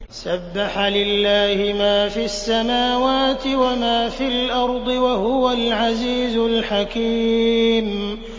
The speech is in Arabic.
سَبَّحَ لِلَّهِ مَا فِي السَّمَاوَاتِ وَمَا فِي الْأَرْضِ ۖ وَهُوَ الْعَزِيزُ الْحَكِيمُ